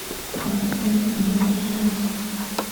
портвейн алена швец